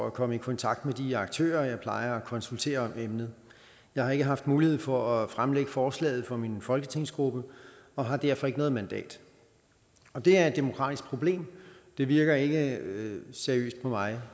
at komme i kontakt med de aktører jeg plejer at konsultere om emnet jeg har ikke haft mulighed for at fremlægge forslaget for min folketingsgruppe og har derfor ikke noget mandat det er et demokratisk problem det virker ikke seriøst på mig